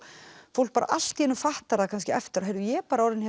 fólk bara allt í einu fattar það eftir á heyrðu ég er bara orðin